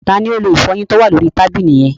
Ta ni ó lo ìfọyín tó wà lóri tàbílì yẹn?